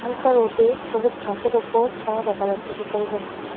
হালকা রোদে সবুজ ঘাসের উপর ছায়া দেখা যাচ্ছে সুপারি গাছের।